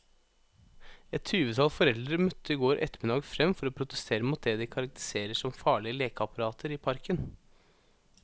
Et tyvetall foreldre møtte i går ettermiddag frem for å protestere mot det de karakteriserer som farlige lekeapparater i parken.